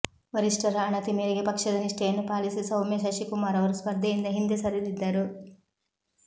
ವರಿಷ್ಠರ ಅಣತಿ ಮೇರೆಗೆ ಪಕ್ಷದ ನಿಷ್ಠೆಯನ್ನು ಪಾಲಿಸಿ ಸೌಮ್ಯ ಶಶಿಕುಮಾರ್ ಅವರು ಸ್ಪರ್ಧೆಯಿಂದ ಹಿಂದೆ ಸರಿದಿದ್ದರು